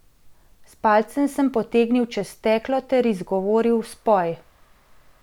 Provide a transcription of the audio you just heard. S palcem sem potegnil čez steklo ter izgovoril spoj.